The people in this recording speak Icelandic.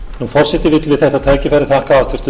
forseti vill við þetta tækifæri þakka háttvirtum